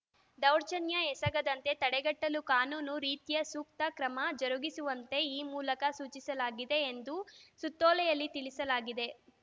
ದೌರ್ಜನ್ಯ ಎಸಗದಂತೆ ತಡೆಗಟ್ಟಲು ಕಾನೂನು ರೀತ್ಯ ಸೂಕ್ತ ಕ್ರಮ ಜರುಗಿಸುವಂತೆ ಈ ಮೂಲಕ ಸೂಚಿಸಲಾಗಿದೆ ಎಂದು ಸುತ್ತೋಲೆಯಲ್ಲಿ ತಿಳಿಸಲಾಗಿದೆ